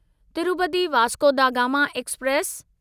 Tirupati Vasco da Gama express